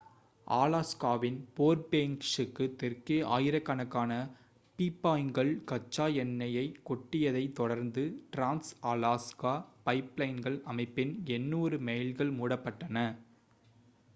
அலாஸ்காவின் ஃபேர்பேங்க்ஸுக்கு தெற்கே ஆயிரக்கணக்கான பீப்பாய்கள் கச்சா எண்ணெயைக் கொட்டியதைத் தொடர்ந்து டிரான்ஸ்-அலாஸ்கா பைப்லைன் அமைப்பின் 800 மைல்கள் மூடப்பட்டன